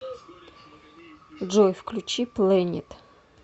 джой включи плэнет